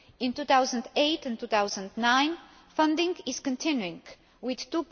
In 2008 and 2009 funding is continuing, with EUR